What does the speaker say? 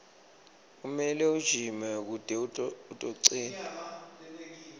kumele ujime kute utocina